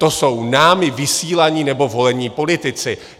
To jsou námi vysílaní nebo volení politici.